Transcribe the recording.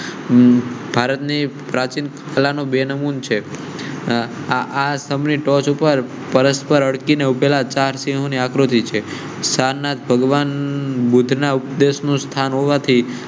ભારતની પ્રાચીન કલા નું બેન મૂન છે. આસામ ની ટોચ પર પરસ્પર અટકી ને ઉભેલા ચાર સિંહો ને આ કૃતિ સાર નાથ ભગવાન બુધ્ધ ના ઉપદેશ નું સ્થાન હોવા થી